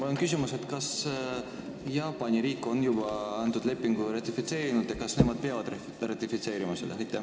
Mul on küsimus: kas Jaapan on juba selle lepingu ratifitseerinud ja kas nad üldse peavad selle ratifitseerima?